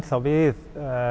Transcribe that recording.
við